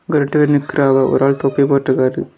அங்க ரெண்டு பேரு நிக்கிறாவ. ஒரு ஆள் தொப்பி போட்ருக்காரு.